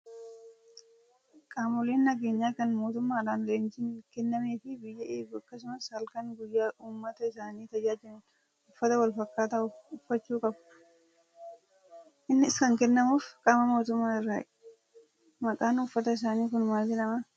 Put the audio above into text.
Qaamoleen nageenyaa kan mootummaadhaan leenjiin kennameefii biyya eeguu akkasumas halkanii guyyaa uummata isaanii tajaajilan uffata wal fakkaataa uffachuu qabu. Innis kan kennamuuf qaama mootummaa irraayi. Maqaan uffata isaanii kun maal jedhama?